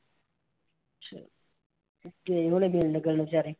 ਗਏ ਹੋਣੇ ਮਿਲਣ ਗਿਲਣ ਵਿਚਾਰੇ।